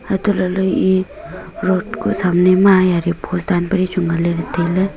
ha tolahle e road ku samne ma yari post dan pe daichu ngan lele taile.